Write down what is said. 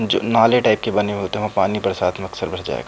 जो नाले टाइप के बने होते हैं वहाँ पानी बरसात में अक्सर भर जाया क --